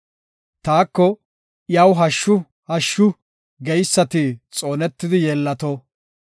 Taako, “Iyaw hashshu, hashshu” geysati xoonetidi yeellato.